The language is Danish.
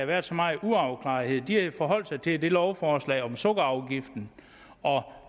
været så meget uafklarethed de har forholdt sig til lovforslaget om sukkerafgiften og